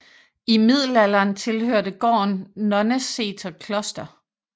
I middelalderen tilhørte gården Nonneseter kloster